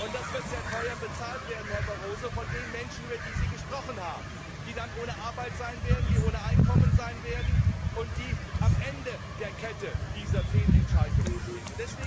Das wird sehr teuer bezahlt werden, Herr Barroso, von den Menschen, über die Sie gesprochen haben, die dann ohne Arbeit und ohne Einkommen sein werden, und die am Ende der Kette dieser Fehlentscheidungen stehen.